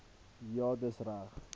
ja dis reg